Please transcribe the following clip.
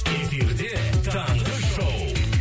эфирде таңғы шоу